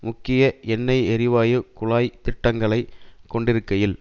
முக்கிய எண்ணெய் எரிவாயு குழாய் திட்டங்களை கொண்டிருக்கையில்